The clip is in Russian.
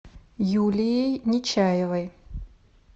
юлией нечаевой